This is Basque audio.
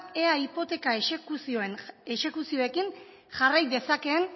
ea hipoteka exekuzioekin jarrai dezakeen